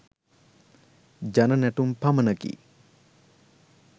ජන නැටුම් පමණකි.